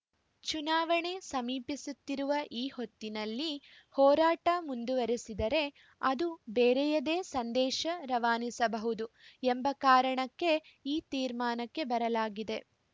ಚುನಾವಣೆ ಸಮೀಪಿಸುತ್ತಿರುವ ಈ ಹೊತ್ತಿನಲ್ಲಿ ಹೋರಾಟ ಮುಂದುವರಿಸಿದರೆ ಅದು ಬೇರೆಯದೇ ಸಂದೇಶ ರವಾನಿಸಬಹುದು ಎಂಬ ಕಾರಣಕ್ಕೆ ಈ ತೀರ್ಮಾನಕ್ಕೆ ಬರಲಾಗಿದೆ